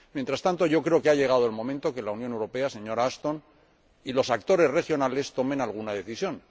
Mientras tanto, creo que ha llegado el momento de que la Unión Europea, señora Ashton, y los actores regionales tomen alguna decisión.